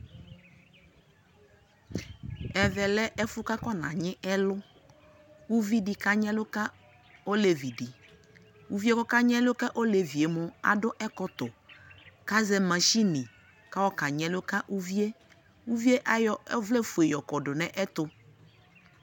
ɛvɛ lɛ ɛƒʋ kʋ akɔna nyi ɛlʋ, ʋvi di kanyi ɛlʋka ɔlɛvi di, ɔlʋɛ ka nyi ɛlʋ ka ɔlɛvi mʋ adʋ ɛkɔtɔ kʋazɛ mashini kʋayɔ ka nyi ɛlʋka ʋviɛ, ʋviɛ ayɔ ɔvlɛ vʋɛ kɔdʋ nʋ ɛtʋ